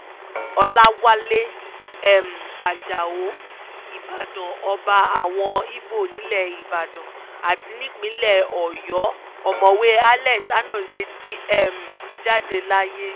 ọ̀làwálẹ̀ um ajáò ìbàdàn ọba àwọn igbó nílẹ̀ ìbàdàn àti nípínlẹ̀ ọ̀yọ́ ọ̀mọ̀wé alex anozie ti um jáde láyé